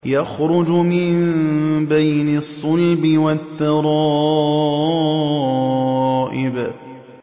يَخْرُجُ مِن بَيْنِ الصُّلْبِ وَالتَّرَائِبِ